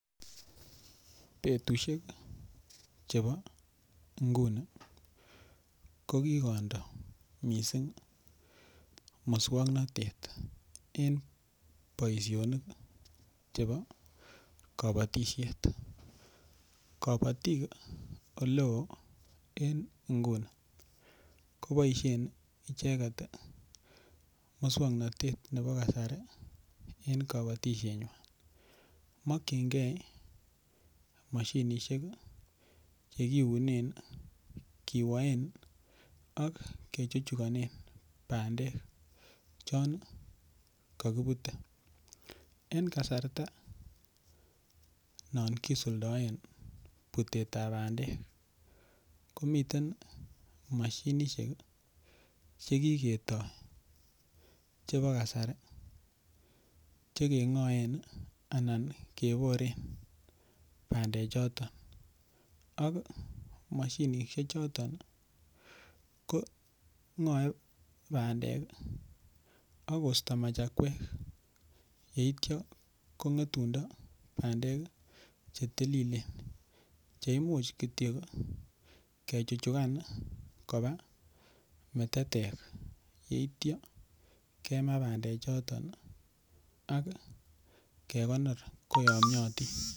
Betusiek chebo inguni kokikondoo missing muswoknotet en boisionik chebo kabatisiet kabatiik en eleo en inguni koboisien icheket ii muswoknotet ne bo kasari en kabatisienywa mokyingee mashinishek che kiunen, kiwaen ak kechuchuganen bandek chon kakibute en kasarta non kisuldaen butetab bandek komiten mashinishek ii chekiketoo chebo kasari chekeng'oen anan keboren bandechoton ak mashinishechoton ko ng'oe bandek ii akosto machakwek yeityo kong'etundoo bandek chetililen cheimuch kityok kechuchugan kobaa metetek yeityo kemaa bandechoton akekonor koyomiatin.